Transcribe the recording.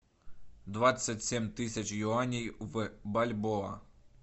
двадцать семь тысяч юаней в бальбоа